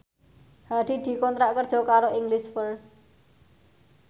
Hadi dikontrak kerja karo English First